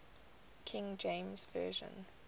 king james version